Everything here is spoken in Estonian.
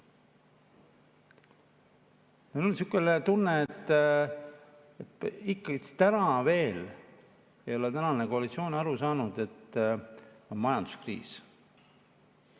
Mul on selline tunne, et täna ikka veel ei ole koalitsioon aru saanud, et on majanduskriis.